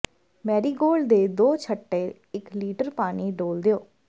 Marigold ਦੇ ਦੋ ਛੱਟੇ ਇੱਕ ਲੀਟਰ ਪਾਣੀ ਡੋਲ੍ਹ ਦਿਓ